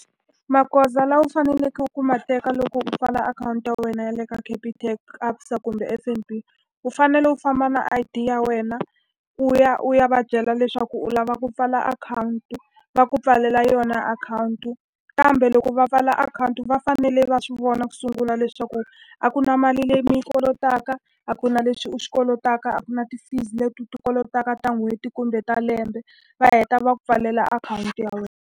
Magoza lawa u faneleke ku ma teka loko u pfala akhawunti ya wena ya le ka Capitec, ABSA kumbe F_N_B, u fanele u famba na I_D ya wena u ya u ya va byela leswaku u lava ku pfala akhawunti. Va ku pfalela yona akhawunti. Kambe loko va pfala akhawunti va fanele va swi vona ku sungula leswaku a ku na mali leyi mi yi kolotaka, a ku na leswi u swi kolotaka, a ku na ti-fees leti u ti kolotaka ta n'hweti kumbe ta lembe. Va heta va ku pfalela akhawunti ya wena.